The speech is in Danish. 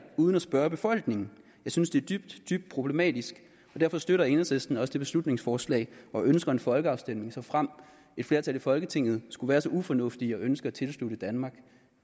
uden at spørge befolkningen jeg synes det er dybt dybt problematisk og derfor støtter enhedslisten også beslutningsforslaget og ønsker en folkeafstemning såfremt et flertal i folketinget skulle være så ufornuftige at ønske at tilslutte danmark